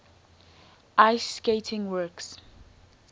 ice skating works